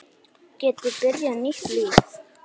Geti byrjað nýtt líf.